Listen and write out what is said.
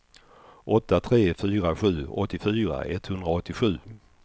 åtta tre fyra sju åttiofyra etthundraåttiosju